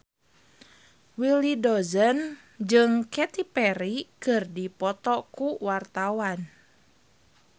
Willy Dozan jeung Katy Perry keur dipoto ku wartawan